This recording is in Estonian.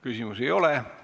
Küsimusi ei ole.